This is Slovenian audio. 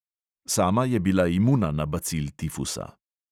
Sama je bila imuna na bacil tifusa.